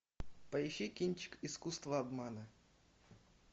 поищи кинчик искусство обмана